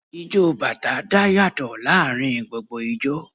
Ijó bàtá dá yàtọ̀ láàárín gbogbo ijó